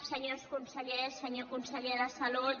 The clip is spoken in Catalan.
senyors consellers senyor conseller de salut